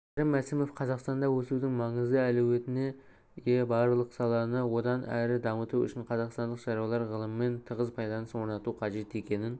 кәрім мәсімов қазақстанда өсудің маңызды әлеуетіне ие бірақ саланы одан әрі дамыту үшін қазақстандық шаруалар ғылыммен тығыз байланыс орнату қажет екенін